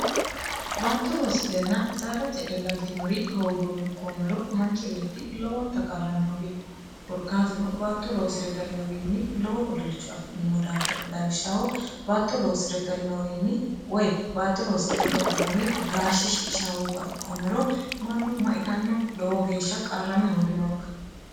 baatto loosinna saada je e galtinori hooguumme koommero manchi beetti lowonta qarrame hoogino korkaatino baatto loosi're galinowiinni lowo moluchu afi'nimo daafir dawishshaho baatto loosireggalinowiinni woy baatto loosidhegaltinori gaashshe shiqisha hooguha ikkoommero mannu maitanno lowo geeshsha qarrame hooginoonka